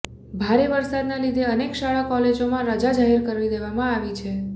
ભારે વરસાદને લીધે અનેક શાળા કોલેજમાં રજા જાહેર કરી દેવામાં આવી છે